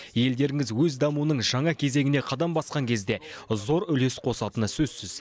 елдеріңіз өз дамуының жаңа кезеңіне қадам басқан кезде зор үлес қосатыны сөзсіз